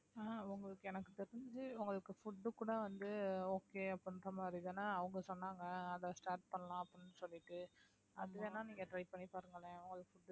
ஆஹ் உங்களுக்கு எனக்கு தெரிஞ்சு உங்களுக்கு food கூட வந்து okay அப்படின்ற மாதிரிதானே அவங்க சொன்னாங்க அதை start பண்ணலாம் அப்படின்னு சொல்லிட்டு அது வேணா நீங்க try பண்ணிப் பாருங்களேன் உங்களுக்கு